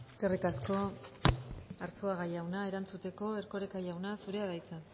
eskerrik asko arzuaga jauna erantzuteko erkoreka jauna zurea da hitza